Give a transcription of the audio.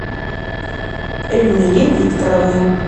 эльмире викторовне